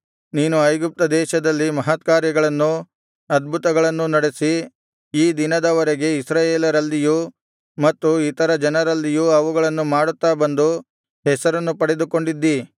ನೀನು ಐಗುಪ್ತದೇಶದಲ್ಲಿ ಮಹತ್ಕಾರ್ಯಗಳನ್ನೂ ಅದ್ಭುತಗಳನ್ನೂ ನಡೆಸಿ ಈ ದಿನದವರೆಗೆ ಇಸ್ರಾಯೇಲರಲ್ಲಿಯೂ ಮತ್ತು ಇತರ ಜನರಲ್ಲಿಯೂ ಅವುಗಳನ್ನು ಮಾಡುತ್ತಾ ಬಂದು ಹೆಸರನ್ನು ಪಡೆದುಕೊಂಡಿದ್ದಿ